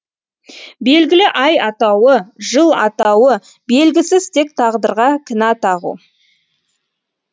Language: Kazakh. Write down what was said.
белгілі ай атауы жыл атауы белгісіз тек тағдырға кінә тағу